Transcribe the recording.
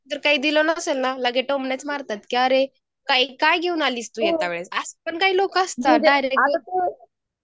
जरी काही दिले नसेलना लगेच मग टोमणेच मारणारे काय काय घेऊन आली येतावेळेस असं पण काही लोक असतात जे डायरेक्ट